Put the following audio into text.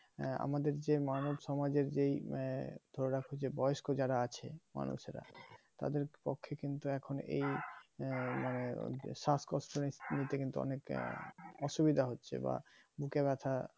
আঃ আমাদের যে মানব সমাজের যেই ধরে রাখো যে বয়স্ক যারা আছে মানুষেরা তাদের পক্ষে কিন্তু এখন এই মানে শ্বাসকষ্ট নিতে কিন্তু অনেকটা অসুবিধা হচ্ছে বা বুকে ব্যাথা